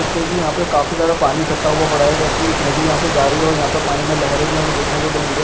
देख सकते है कि यहाँ पर काफी सारा पानी इकट्ठा हुआ पड़ा है जो कि एक नदी यहाँ से जा रही है और यहाँ पर पानी में लहरे भी हमें देखने को मिल रही है।